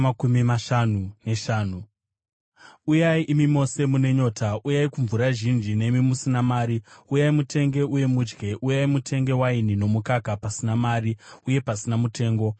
“Uyai imi mose mune nyota, uyai kumvura zhinji; nemi musina mari, uyai, mutenge uye mudye! Uyai mutenge waini nomukaka pasina mari uye pasina mutengo.